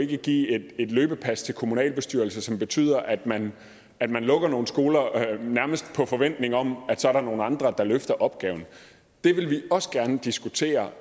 give et løbepas til kommunalbestyrelser som betyder at man at man lukker nogle skoler nærmest på forventning om at der så er nogle andre der løfter opgaven det vil vi også gerne diskutere